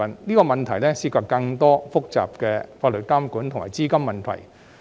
這個問題涉及更多複雜的法律監管及資金問題。